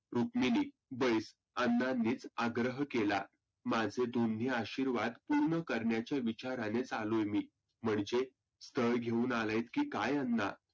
रुक्मीनी बैस अण्णांनीच अग्रह केला. माझे दोन्ही आशिर्वाद पुर्ण करण्याच्याच विचारानी आलोय मी. म्हणजे? स्थळ घेऊन आलेत की काय अण्णा.